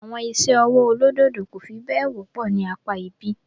Àwọn iṣẹ́ ọwọ́ olódòdó kò fi bẹ́ẹ̀ wọ́pọ̀ ní apá ibí.